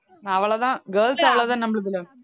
அவ்வளவுதான் girls அவ்வளவுதான் நம்மளுதுல